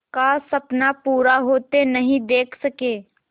का सपना पूरा होते नहीं देख सके